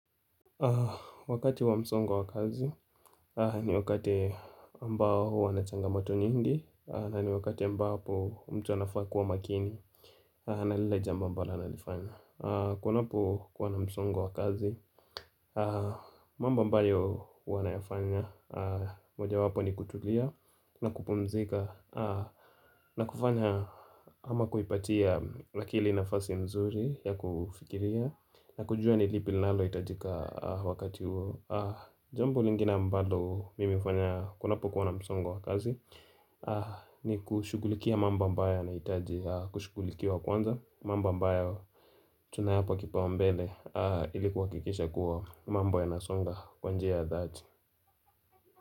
Wakati wa msongo wa kazi ni wakati ambao hua na changamoto nyingi na ni wakati mbapo mtu anafaa kuwa makini. Na lile jombo ambalo analifanya. Kunapo kuwa na msongo wa kazi mambo ambayo hua nayafanya moja wapo ni kutulia na kupumzika na kufanya ama kuipatia akili nafasi mzuri ya kufikiria, na kujua ni lipi linalo hitajika wakati huo. Jambo lingine mbalo mimi hufanya kunapokuwa na msongo wa kazi ni kushugulikia mambo ambayo yanahitaji kushugulikiwa kwanza, mambo ambayo tunayapa kipaumbele ili kuhakikisha kuwa mambo yanasonga kwa njia ya dhati.